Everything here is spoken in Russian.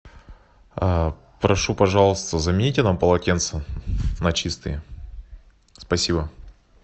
прошу пожалуйста замените нам полотенца на чистые спасибо